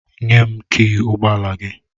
Nye m kịị ụgbọ ala gị!